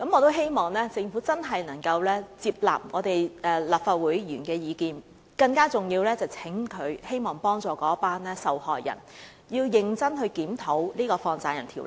我希望政府接納立法會議員的意見，而更重要的是，我希望政府幫助受害人，認真檢討《放債人條例》。